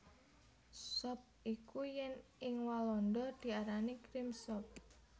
Sop iku yèn ing Walanda diarani Cream Soup